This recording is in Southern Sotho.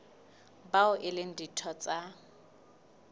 bao e leng ditho tsa